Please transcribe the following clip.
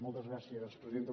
moltes gràcies presidenta